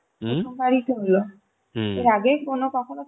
প্রথম বার ই তো হলো এর আগে ই মনে কখনো